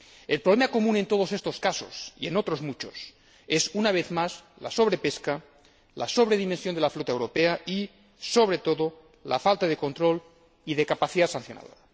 El problema común en todos estos casos y en otros muchos es, una vez más, la sobrepesca, la sobredimensión de la flota europea y, sobre todo, la falta de control y de capacidad sancionadora.